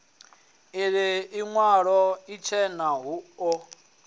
ii iwalo itshena hu o